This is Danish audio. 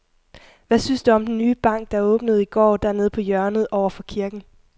Hvad synes du om den nye bank, der åbnede i går dernede på hjørnet over for kirken?